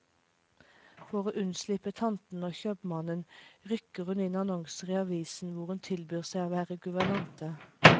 For å unnslippe tantene og kjøpmannen, rykker hun inn annonser i avisen hvor hun tilbyr seg å være guvernante.